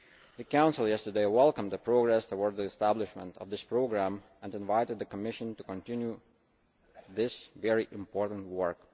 The Council yesterday welcomed the progress towards the establishment of this programme and invited the Commission to continue this very important work.